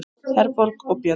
Herborg og Björn.